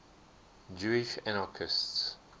jewish anarchists